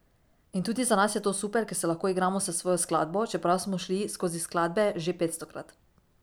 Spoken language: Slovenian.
In tudi za nas je to super, ker se lahko igramo s svojo glasbo, čeprav smo šli skozi skladbe že petstokrat.